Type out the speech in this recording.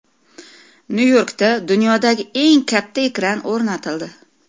Nyu-Yorkda dunyodagi eng katta ekran o‘rnatildi.